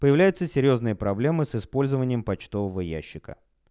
появляются серьёзные проблемы с использованием почтового ящика